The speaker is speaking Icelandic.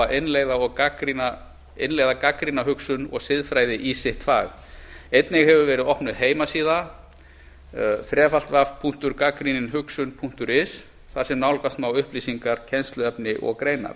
að innleiða gagnrýna hugsun og siðfræði í sitt fag einnig hefur verið opnuð heimasíða wwwgagnryninhugsunhi punktur is þar sem nálgast má upplýsingar kennsluefni og greinar